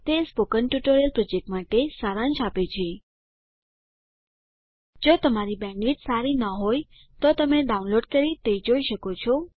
તે spoken tutorial project માટે સારાંશ આપે છે જો તમારી બેન્ડવિડ્થ સારી ન હોય તો તમે ડાઉનલોડ કરી તે જોઈ શકો છો